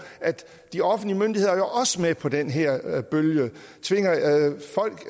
at de offentlige myndigheder jo også er med på den her bølge